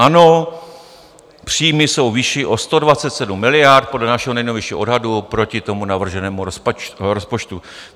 Ano, příjmy jsou vyšší o 127 miliard podle našeho nejnovější odhadu proti tomu navrženému rozpočtu.